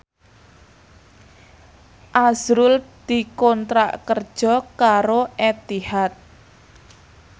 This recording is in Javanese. azrul dikontrak kerja karo Etihad